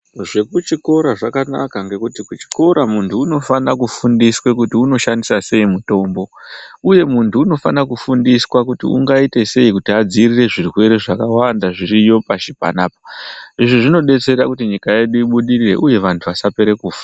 Zvekuchikora zvakanaka ngekuti kuchikora muntu unofana kufundiswa kuti oshasndisa sei mutombo, uye muntu unofana kufundiswa kuti muntu ungaita sei kuti adziirire zvirwere zviriyo pashi panapa, izvi zvinodersera kuti nyika yedu ibudirire uye antu asapera kufa.